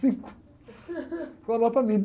cinco, foi a nota mínima.